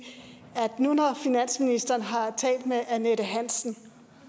nu hvor finansministeren har talt med annette hansen